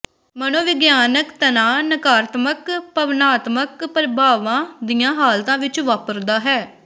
ਮਨੋਵਿਗਿਆਨਕ ਤਣਾਅ ਨਕਾਰਾਤਮਕ ਭਾਵਨਾਤਮਿਕ ਪ੍ਰਭਾਵਾਂ ਦੀਆਂ ਹਾਲਤਾਂ ਵਿੱਚ ਵਾਪਰਦਾ ਹੈ